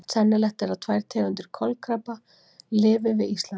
Sennilegt er að tvær tegundir kolkrabba lifi við Ísland.